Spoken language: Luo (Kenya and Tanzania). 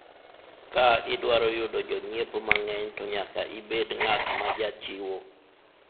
ka idwaro yudo jonyiepo mang'eny to nyaka ibed ng'at majachiwo